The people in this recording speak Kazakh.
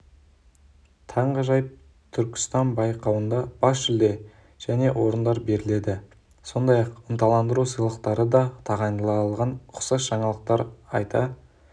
таңғажайып түркістан байқауында бас жүлде және орындар беріледі сондай-ақ ынталандыру сыйлықтары да тағайындалған ұқсас жаңалықтар айта